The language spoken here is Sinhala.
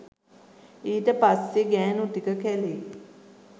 ඊට පස්සෙ ගෑණු ටික කැලේ